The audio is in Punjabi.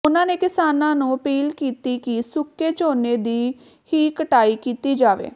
ਉਨਾਂ ਨੇ ਕਿਸਾਨਾਂ ਨੂੰ ਅਪੀਲ ਕੀਤੀ ਕਿ ਸੁੱਕੇ ਝੋਨੇ ਦੀ ਹੀ ਕਟਾਈ ਕੀਤੀ ਜਾਵੇ